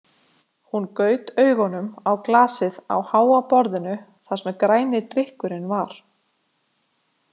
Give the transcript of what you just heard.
Hún gaut augunum á glasið á háa borðinu þar sem græni drykkurinn var.